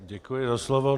Děkuji za slovo.